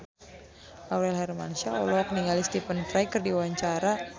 Aurel Hermansyah olohok ningali Stephen Fry keur diwawancara